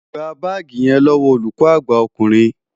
Gba báàgì yẹn lọ́wọ́ olùkọ́ àgbà ọkùnrin!